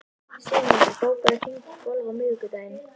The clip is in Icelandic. Sigmundur, bókaðu hring í golf á miðvikudaginn.